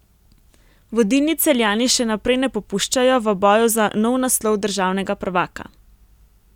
Vodilni Celjani še naprej ne popuščajo v boju za nov naslov državnega prvaka.